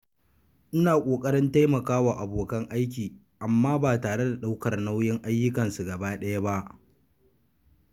Ina kokarin taimaka wa abokan aiki amma ba tare da ɗaukar nauyin ayyukansu gaba ɗaya ba.